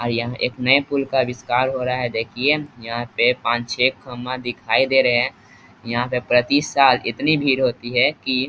और यहाँ एक नया पूल का अविष्कार हो रहा है देखिए यहाँ पे पांच-छे खम्बा दिखाई दे रहे हैं यहाँ पे प्रति साल इतनी भीड़ होती है की --